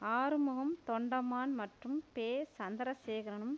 ஆறுமுகம் தொண்டமான் மற்றும் பெ சந்திரசேகரனும்